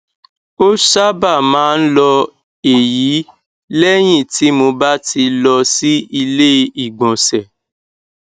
ó sábà máa ń lọ èyí lẹyìn tí mo bá ti lọ sí ilé ìgbọnsẹ